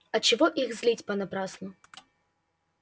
а чего их злить понапрасну